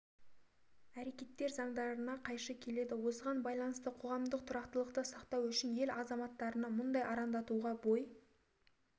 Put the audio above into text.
әрекеттер заңдарына қайшы келеді осыған байланысты қоғамдық тұрақтылықты сақтау үшін ел азаматтарынан мұндай арандатуға бой